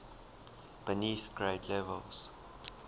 beneath grade levels